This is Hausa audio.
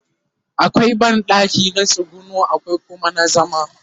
akwai banɗaki na tsuguno akwai Kuma na zama